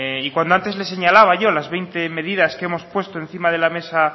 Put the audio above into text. y cuando antes le señalaba yo las veinte medidas que hemos puesto encima de mesa